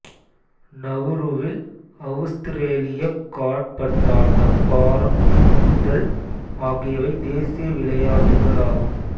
நவூருவில் அவுஸ்திரேலியக் காற்பந்தாட்டம் பாரம் தூக்குதல் ஆகியவை தேசிய விளையாட்டுகள் ஆகும்